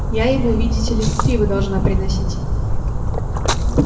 я ему видите ли пиво должна приносить